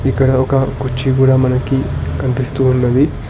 ఇక్కడ ఒక కుర్చీ కూడా మనకి కనిపిస్తూ ఉన్నది.